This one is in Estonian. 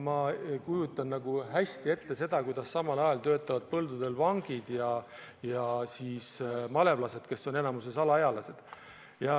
Ma kujutan hästi ette, kuidas samal ajal töötavad põldudel vangid ja malevlased, kes on enamikus alaealised.